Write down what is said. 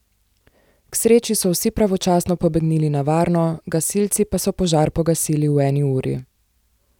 K sreči so vsi pravočasno pobegnili na varno, gasilci pa so požar pogasili v eni uri.